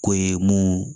Ko ye mun